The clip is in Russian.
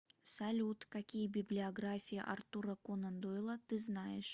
салют какие библиография артура конан дойла ты знаешь